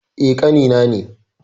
Eh, ƙani na ne.